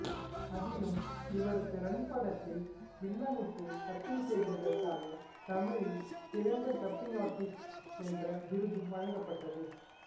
அதிலும் இவருக்கு ரன் படத்தில் வில்லனுக்கு டப்பிங் செய்ததற்காக தமிழில் சிறந்த டப்பிங் ஆர்ட்டிஸ்ட் என்ற விருதும் வழங்கப்பட்டது